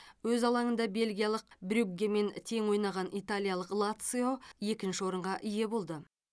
өз алаңында бельгиялық брюггемен тең ойнаған италиялық лацио екінші орынға ие болды